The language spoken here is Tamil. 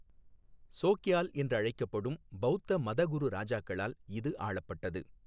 சோக்யால் என்று அழைக்கப்படும் பௌத்த மதகுரு இராஜாக்களால் இது ஆளப்பட்டது.